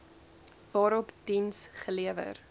waarop diens gelewer